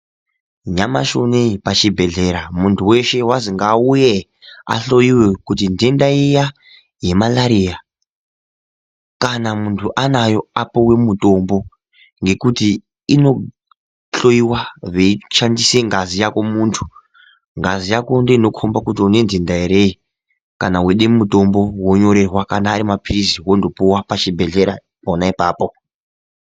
Nyamashi unoyi pachibhehlera muntu weshe wazi ngaauye ahloyiwe kuti ndenda iya yemarariya kana muntu anayo apuwe mutombo. Ngekuti inohloyiwa veishandise ngazi yako muntu. Ngazi yako ndooinokomba kuti unendenda here kana weide mutombo, wonyorerwa, kana ari maphirizi wondopuwa pachibhehlera pona ipapo.